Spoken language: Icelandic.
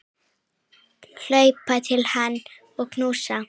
Hlaupa til hans og knúsa.